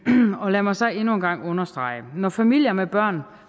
lad mig så endnu en gang understrege at når familier med børn